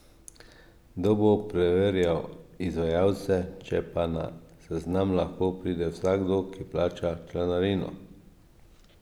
Kdo bo preverjal izvajalce, če pa na seznam lahko pride vsakdo, ki plača članarino?